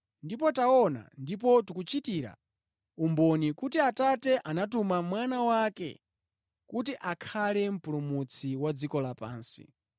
Ndipo taona ndipo tikuchitira umboni, kuti Atate anatuma Mwana wake kuti akhale Mpulumutsi wa dziko lapansi.